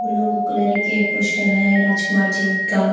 blue colour के poster हैं राजकुमार जी का --